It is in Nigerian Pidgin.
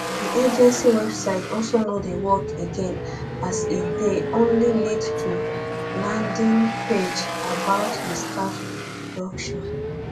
di agency website also no dey work again as e dey only lead to landing page about di staff reduction